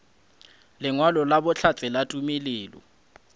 lengwalo la bohlatse la tumelelo